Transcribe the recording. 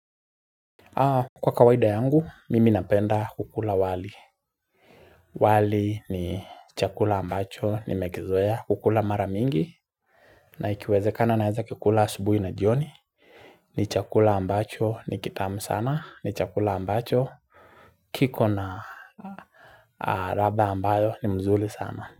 Kwa kawaida yangu, mimi napenda kukula wali. Wali ni chakula ambacho, nimekizoea, kukula mara mingi, na ikiwezekana naeza kikula asubuhi na jioni. Ni chakula ambacho, ni kitamu sana, ni chakula ambacho, kiko na raba ambayo ni mzuri sana.